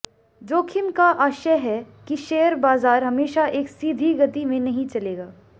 जोखिम का आशय है कि शेयर बाजार हमेशा एक सीधी गति में नहीं चलेगा